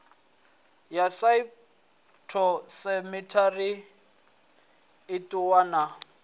ya phytosamitary i ṱuwa na